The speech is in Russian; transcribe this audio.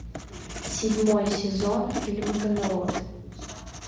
седьмой сезон фильма камелот